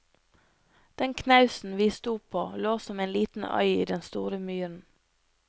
Den knausen vi sto på, lå som en liten øy i den store myren.